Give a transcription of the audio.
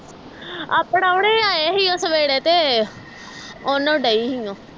ਆ ਪ੍ਰਾਉਹਣੇ ਆਏ ਸੀ ਓਹ ਸਵੇਰੇ ਤੇ ਓਹਨੂੰ ਡਈ ਸੀ ਓਹ